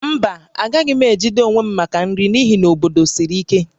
Mba, agaghị m ejide onwe m maka nri n'ihi na obodo siri ike